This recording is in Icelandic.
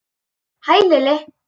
Hæ, Lilli!